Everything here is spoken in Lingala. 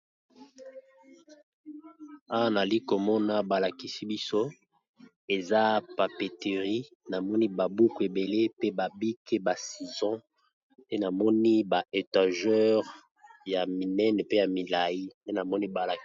Awa, na zali komona balakisi biso papetherie. Namoni babuku ebele, pe babike, ba sizo. Pe namoni ba étageur ya minene, pe ya milai nde namoni balakisi.